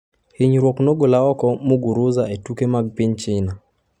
Hinyruok nogolo oko Muguruza e tuke mag piny China